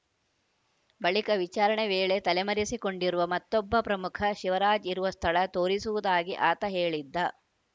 ಬಳಿಕ ವಿಚಾರಣೆ ವೇಳೆ ತಲೆಮರೆಸಿಕೊಂಡಿರುವ ಮತ್ತೊಬ್ಬ ಪ್ರಮುಖ ಶಿವರಾಜ್‌ ಇರುವ ಸ್ಥಳ ತೋರಿಸುವುದಾಗಿ ಆತ ಹೇಳಿದ್ದ